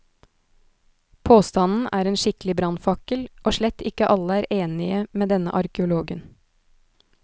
Påstanden er en skikkelig brannfakkel, og slett ikke alle er enige med denne arkeologen.